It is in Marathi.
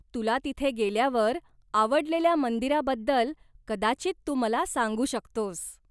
तुला तिथे गेल्यावर आवडलेल्या मंदिराबद्दल कदाचित तू मला सांगू शकतोस.